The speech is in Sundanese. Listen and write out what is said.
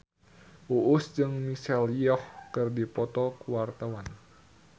Uus jeung Michelle Yeoh keur dipoto ku wartawan